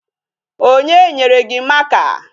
Onye nyere gị marker?